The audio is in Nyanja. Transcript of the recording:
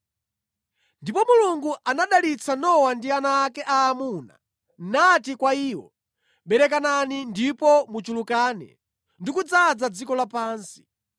Ndipo Mulungu anadalitsa Nowa ndi ana ake aamuna nati kwa iwo, “Berekanani ndipo muchulukane ndi kudzaza dziko lapansi.